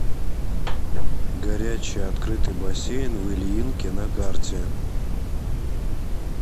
горячий открытый бассейн в ильинке на карте